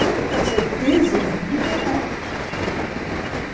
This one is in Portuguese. A única certeza da vida é a morte.